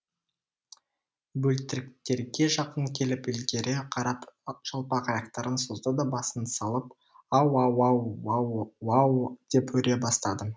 бөлтіріктерге жақын келіп ілгері қарап жалпақ аяқтарын созды да басын салып ау ау ау ауу уау деп үре бастады